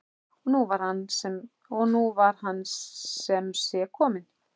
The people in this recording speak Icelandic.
Og nú var hann sem sé kominn!